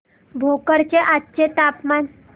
भोकर चे आजचे तापमान